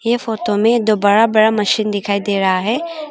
ये फोटो में दो बड़ा बड़ा मशीन दिखाई दे रहा है।